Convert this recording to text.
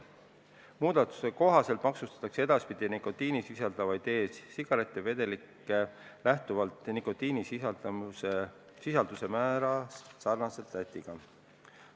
Muudatuse kohaselt maksustataks nikotiini sisaldavaid e-sigarettide vedelikke edaspidi lähtuvalt nikotiinisisalduse määrast sarnaselt Lätiga.